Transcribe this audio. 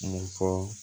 N fɔ